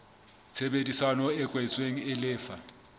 tshebedisano e kwetsweng e lefa